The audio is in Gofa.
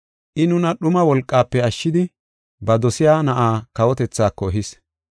I nuna dhuma wolqaafe ashshidi ba dosiya na7aa kawotethaako ehis.